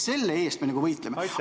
Selle eest me võitleme.